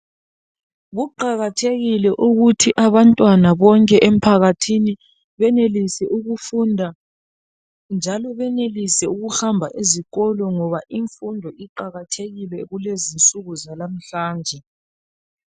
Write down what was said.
Kuqakathekile ukuthi abantwana bonke empakathini benelise ukufunda njalo benelise ukuhamba ezikolo ngoba imfundo iqakathekile ulezinsuku zalamhlanje.